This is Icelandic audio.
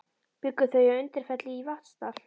Bjuggu þau að Undirfelli í Vatnsdal.